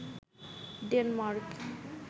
Denmark